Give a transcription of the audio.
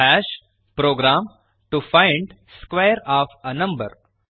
program to find square of a number